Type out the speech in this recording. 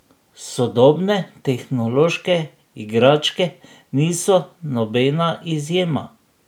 Sodobne tehnološke igračke niso nobena izjema.